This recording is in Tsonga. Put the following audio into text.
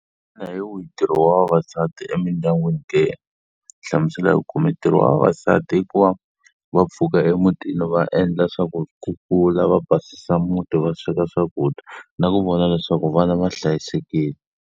Xana hi wihi ntirho wa vavasati emindyangwini ke? Hlamusela hi ku komisa. Ntirho wa vavasati i ku va va pfuka emutini va endla swa ku kukula va basisa muti, va sweka swakudya na ku vona leswaku vana va hlayisekile.